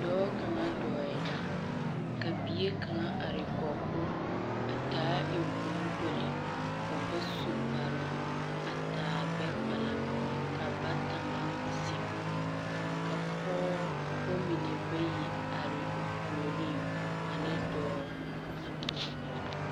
Dɔɔ kaŋa dɔɔɛ la, ka bie kaŋa are kɔg o a taa eŋkpoŋkpoli, o ba su kparoo, a taa gbɛkpala. Ba bata meŋ zeŋ ka pɔɔbɔ mine bayi are o puoriŋ ane dɔɔ.